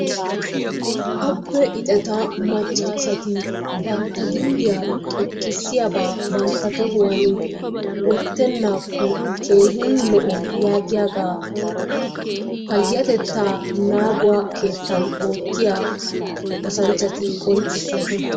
Abbe ixeta maccaasati bantta ginddiya xoqqissiyabaa bantta tohuwan wottennaakko keehin lo'o yaagiyagaa payyatettaa naaguwa keettan oottiya oosanchchati qonccissoosona.